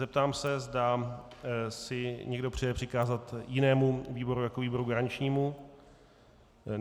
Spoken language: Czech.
Zeptám se, zda si někdo přeje přikázat jinému výboru jako výboru garančnímu.